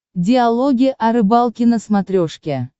диалоги о рыбалке на смотрешке